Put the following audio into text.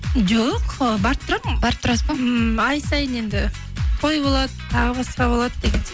жоқ ы барып тұрамын барып тұрасыз ба ммм ай сайын енді той болады тағы басқа болады деген